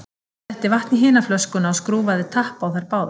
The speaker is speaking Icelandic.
Hann setti vatn í hina flöskuna og skrúfaði tappa á þær báðar.